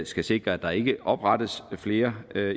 skal sikre at der ikke oprettes flere